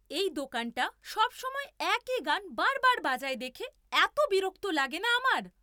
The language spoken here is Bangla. এই দোকানটা সবসময় একই গান বার বার বাজায় দেখে এতো বিরক্ত লাগে না আমার!